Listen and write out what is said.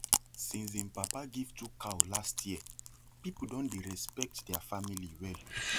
since him papa give two cow last year people don dey respect their family well